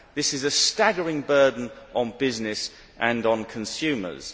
This is a staggering burden on business and on consumers.